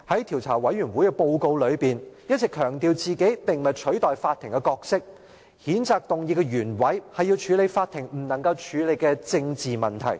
調查委員會在報告中一直強調並非取代法庭的角色，而譴責議案的原委是要處理法庭不能處理的政治問題。